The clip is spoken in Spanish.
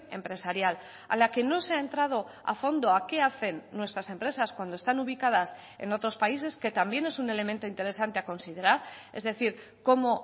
empresarial a la que no se ha entrado a fondo a qué hacen nuestras empresas cuando están ubicadas en otros países que también es un elemento interesante a considerar es decir cómo